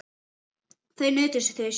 Þar nutu þau sín.